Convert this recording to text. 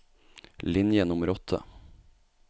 Linje nummer åtte